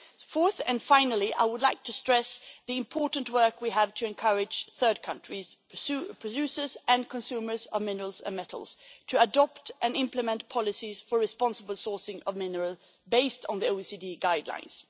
Fourthly and finally, I would like to stress the important work we have to encourage third country producers and consumers of minerals and metals to adopt and implement policies for the responsible sourcing of minerals based on the OECD guidelines.